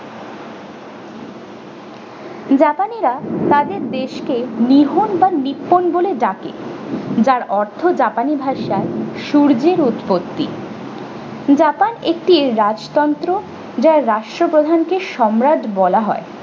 japani রা তাদের দেশকে নিহন বা নিপ্পন বলে ডাকে যার অর্থ japanese ভাষায় সূর্যের উৎপত্তি japan একটি রাজতন্ত্র যার রাষ্ট্র প্রধান কে সম্রাট বলা হয়।